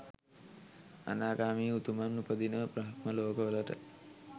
අනාගාමී උතුමන් උපදින බ්‍රහ්ම ලෝකවලට